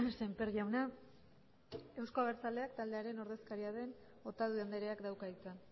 sémper jauna euzko abertzaleak taldearen ordezkaria den otadui andreak dauka hitza